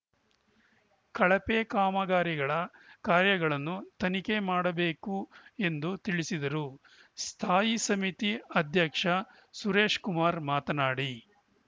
ಕಳಪೆ ಕಾಮಗಾರಿಗಳ ಕಾರ್ಯಗಳನ್ನು ತನಿಖೆ ಮಾಡಬೇಕು ಎಂದು ತಿಳಿಸಿದರು ಸ್ಥಾಯಿ ಸಮಿತಿ ಅಧ್ಯಕ್ಷ ಸುರೇಶ್‌ಕುಮಾರ್‌ ಮಾತನಾಡಿ